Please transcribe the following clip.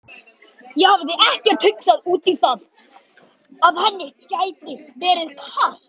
Ég hafði ekkert hugsað út í það að henni gæti verið kalt.